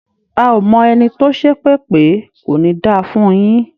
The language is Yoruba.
A ò mọ ẹni tó ṣépè pé "kò ní da fún un yín".